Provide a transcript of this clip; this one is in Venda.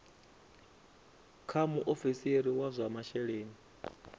kha muofisiri wa zwa masheleni